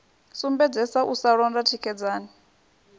sumbedzesa u sa londa tikedzani